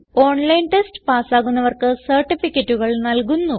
online test പാസ്സാകുന്നവർക്ക് സർട്ടിഫികറ്റുകൾ നല്കുന്നു